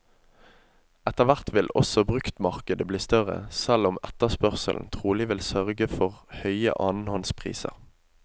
Etterhvert vil også bruktmarkedet bli større, selv om etterspørselen trolig vil sørge for høye annenhåndspriser.